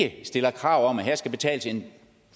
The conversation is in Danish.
at stille krav om at der skal betales en